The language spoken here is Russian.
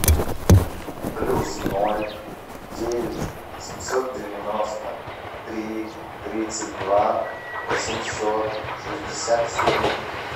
плюс ноль девять семьсот девяносто три тридцать два восемьсот шестьдесят семь